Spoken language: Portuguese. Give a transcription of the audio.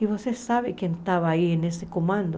E você sabe quem estava aí nesse comando?